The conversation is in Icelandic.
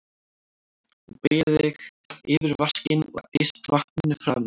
Þú beygir þig yfir vaskinn og eyst vatninu framan í þig.